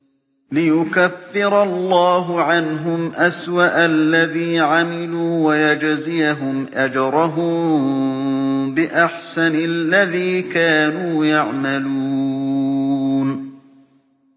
لِيُكَفِّرَ اللَّهُ عَنْهُمْ أَسْوَأَ الَّذِي عَمِلُوا وَيَجْزِيَهُمْ أَجْرَهُم بِأَحْسَنِ الَّذِي كَانُوا يَعْمَلُونَ